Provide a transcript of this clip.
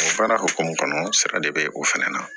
Baara hokumu kɔnɔ sa de be o fɛnɛ na